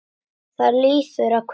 Það líður að kvöldi.